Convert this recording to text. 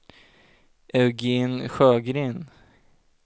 Eugén Sjögren